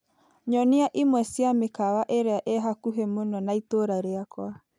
Nyonia imwe ci a mĩkawa ĩrĩa ĩ hakuhĩ mũno na itũra rĩakwa .